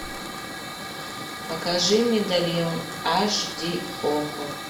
покажи медальон аш ди окко